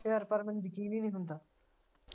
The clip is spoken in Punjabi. ਪਰ ਯਾਰ ਮੈਨੂੰ ਯਕੀਨ ਈ ਨਹੀਂ ਹੁੰਦਾ।